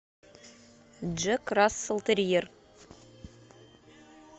джек рассел терьер